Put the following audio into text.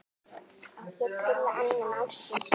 Ég grilla allan ársins hring.